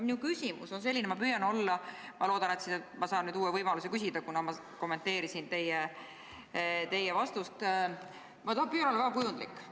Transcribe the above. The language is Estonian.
Mu küsimus on selline – loodan, et saan uue võimaluse küsida, kuna kommenteerisin teie vastust –, ma püüan olla väga kujundlik.